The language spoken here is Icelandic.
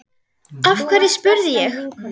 Af hverju? spurði ég.